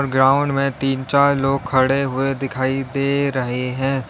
Ground में तीन चार लोग खड़े हुए दिखाई दे रहे हैं।